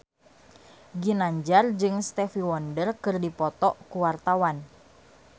Ginanjar jeung Stevie Wonder keur dipoto ku wartawan